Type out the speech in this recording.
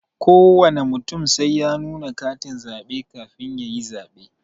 Kowana mutum sai ya nuna katin zabe kafin yayi zabe.